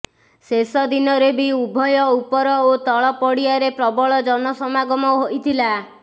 ଶେଷ ଦିନରେ ବି ଉଭୟ ଉପର ଓ ତଳ ପଡ଼ିଆରେ ପ୍ରବଳ ଜନସମାଗମ ହୋଇଥିଲା